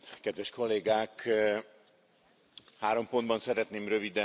Három pontban szeretném röviden összefoglalni az álláspontomat.